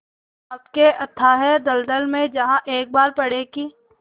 पाप के अथाह दलदल में जहाँ एक बार पड़े कि